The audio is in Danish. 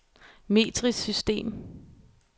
metrisk system